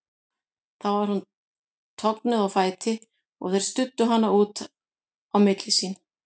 Þá var hún toguð á fætur og þeir studdu hana út á milli sín.